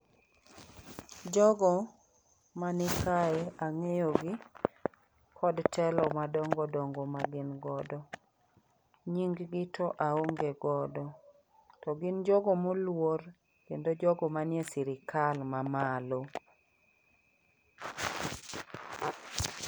Jogo mani kae ang'eyo gi kod telo madongo dongo ma gin godo . Nying gi to aonge godo ,to gin jogo moluor kendo jogo manie sirikal mamalo